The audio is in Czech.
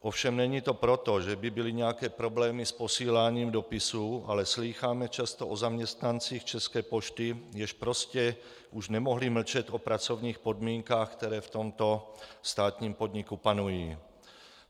Ovšem není to proto, že by byly nějaké problémy s posíláním dopisů, ale slýcháme často o zaměstnancích České pošty, kteří prostě už nemohli mlčet o pracovních podmínkách, které v tomto státním podniku panují.